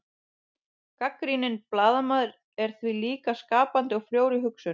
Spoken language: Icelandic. gagnrýninn blaðamaður er því líka skapandi og frjór í hugsun